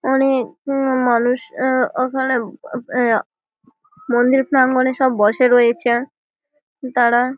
অনেক আ মানুষ আ ওখানে আ মন্দির প্রাঙ্গনে সব বসে রয়েছে তাঁরা --